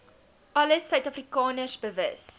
alle suidafrikaners bewus